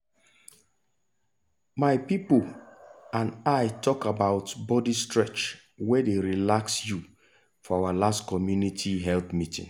my people and i talk about body stretch wey dey relax you for our last community health meeting.